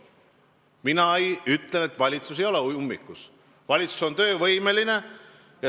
Mina ütlen, et valitsus ei ole ummikus, valitsus on töövõimeline.